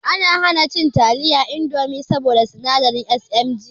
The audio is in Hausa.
Ana hana cin taliyar indomi saboda sinadari SMG